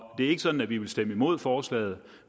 er ikke sådan at vi vil stemme imod forslaget